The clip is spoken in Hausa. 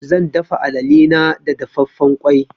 Zan dafa alale na da dafaffen ƙwai.